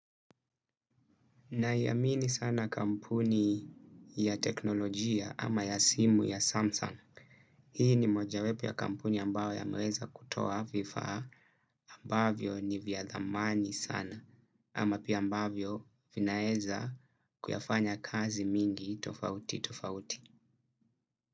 Naiamini sana kampuni ya teknolojia ama ya simu ya Samsung. Hii ni mojawepo ya kampuni ambayo yameweza kutoa vifaa ambavyo ni vya dhamani sana ama pia ambavyo vinaeza kuyafanya kazi mingi tofauti tofauti.